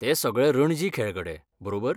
ते सगळे रणजी खेळगडे, बरोबर?